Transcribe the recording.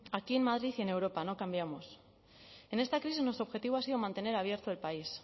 aquí en madrid y en europa no cambiamos en esta crisis nuestro objetivo ha sido mantener abierto el país